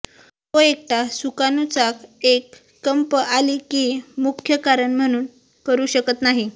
तो एकटा सुकाणू चाक एक कंप आली की मुख्य कारण म्हणून करू शकत नाही